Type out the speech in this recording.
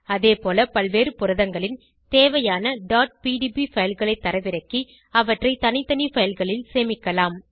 அதேபோல பல்வேறு புரதங்களின் தேவையான pdb fileகளை தரவிறக்கி அவற்றை தனித்தனி fileகளில் சேமிக்கலாம்